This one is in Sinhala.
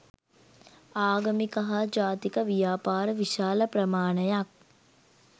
ආගමික හා ජාතික ව්‍යාපාර විශාල ප්‍රමාණයක්